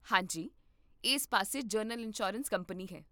ਹਾਂ ਜੀ, ਇਸ ਪਾਸੇ ਜਨਰਲ ਇੰਸ਼ੋਰੈਂਸ ਕੰਪਨੀ ਹੈ